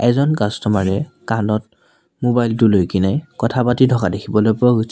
এজন কাষ্টমাৰ এ কাণত মোবাইল টো লৈ কেনে কথা পাতি থকা দেখিবলৈ পোৱা গৈছ--